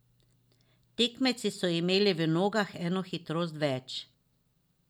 Tekmeci so imeli v nogah eno hitrost več.